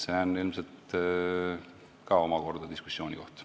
See on ilmselt ka omakorda diskussiooni koht.